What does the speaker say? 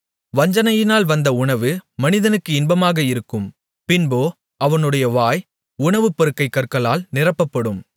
வஞ்சனையினால் வந்த உணவு மனிதனுக்கு இன்பமாக இருக்கும் பின்போ அவனுடைய வாய் உணவுப்பருக்கைக் கற்களால் நிரப்பப்படும்